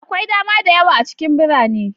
Akwai dama da yawa a cikin birane.